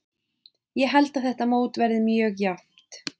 Ég held að þetta mót verði mjög jafnt.